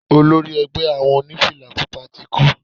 Olori egbẹ́ awo onífìlà Pupa ti kú.